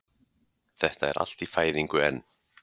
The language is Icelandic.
Þetta er allt í fæðingu enn